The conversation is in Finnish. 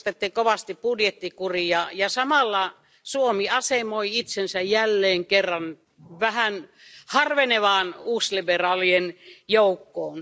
Korostitte kovasti budjettikuria ja samalla Suomi asemoi itsensä jälleen kerran vähän harvenevaan uusliberaalien joukkoon.